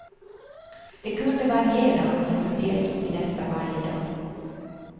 Det kunde variera men jag deltog i detta varje dag.